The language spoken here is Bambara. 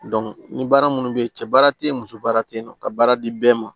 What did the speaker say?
ni baara minnu bɛ yen cɛ baara tɛ yen muso baara tɛ yen nɔ ka baara di bɛɛ ma